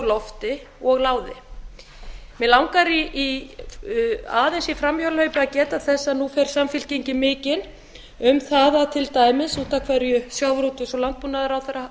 lofti og láði mig langar aðeins í framhjáhlaupi að geta þess að nú fer samfylkingin mikinn um það til dæmis út af hverju hæstvirtum sjávarútvegs og landbúnaðarráðherra